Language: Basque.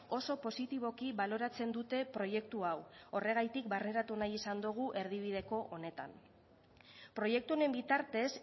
oso positiboki baloratzen dute proiektu hau horregatik barneratu nahi izan dugu erdibideko honetan proiektu honen bitartez